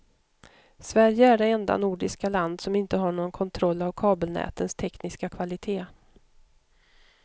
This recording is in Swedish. Sverige är det enda nordiska land som inte har någon kontroll av kabelnätens tekniska kvalitet.